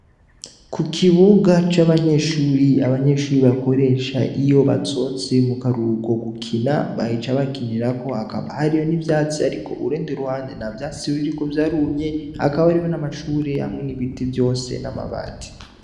Ku kibuga c'abanyeshuri, abanyeshure bakoresha iyo basohotse mukaruhuko gukina, baca bakinirako. Hakaba hariho n'ivyatsi, ariko urundi ruhande nta vyatsi biriko vyarumye. Hakaba hariho n'amashure hamwe n'ibiti vyose, n'amabati.